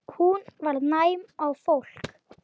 Hún var næm á fólk.